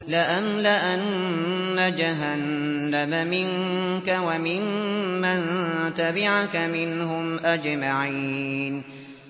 لَأَمْلَأَنَّ جَهَنَّمَ مِنكَ وَمِمَّن تَبِعَكَ مِنْهُمْ أَجْمَعِينَ